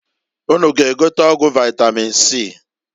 Unu g'egote ọgwụ vaitamin C.